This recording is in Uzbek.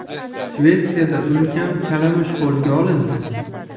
Shvetsiyada ulkan kalamush qo‘lga olindi.